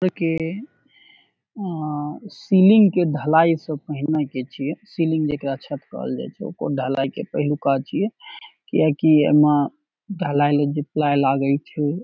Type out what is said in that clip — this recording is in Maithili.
ओय के सीलिंग के ढलाई के पहले के छीये अ सीलिंग जकड़ा छत कहल जाए छै ओकर ढलाय के पहलुका छीये किया की एमे ढलाय लेल जे प्लाई लागै छै --